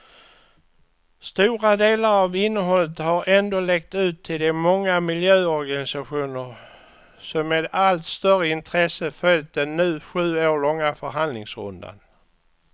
Stora delar av innehållet har ändå läckt ut till de många miljöorganisationer som med allt större intresse följt den nu sju år långa förhandlingsrundan.